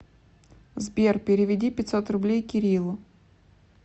сбер переведи пятьсот рублей кириллу